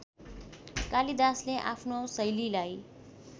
कालिदासले आफ्नो शैलीलाई